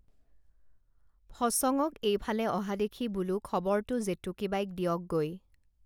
ফচঙক এইফালে অহা দেখি বোলো খবৰটো জেতুকীবাইক দিয়ক গৈ